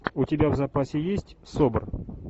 у тебя в запасе есть собр